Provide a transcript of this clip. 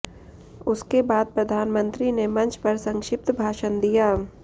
उसके बाद प्रधानमंत्री ने मंच पर संक्षिप्त भाषण दिया